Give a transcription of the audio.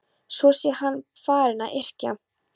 Svo sé hann farinn að yrkja.